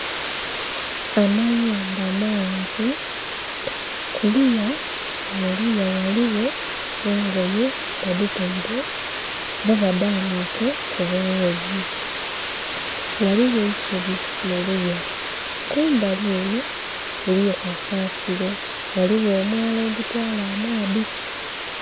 Amayumba mangi, kuluya muluya ghaligho engoye badhitaire oba badhanhike ku bughuuzi, ghaligho eisubi muluya. Kumbali enho eriyo kasasiro ghaligho omwaala ogutwaala amaadhi.